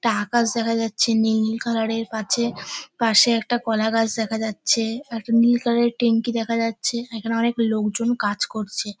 একটা আকাশ দেখা যাচ্ছে নীল নীল কালারের পাছে পাশে একটা কলাগাছ দেখা যাচ্ছে একটা নীল কালারের ট্যাঙ্কি দেখা যাচ্ছে এখানে অনেক লোকজন কাজ করছে।